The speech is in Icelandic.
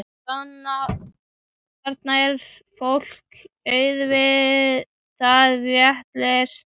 Þarna er fólki auðvitað rétt lýst.